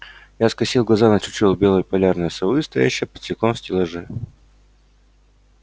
я скосил глаза на чучело белой полярной совы стоящее под стеклом в стеллаже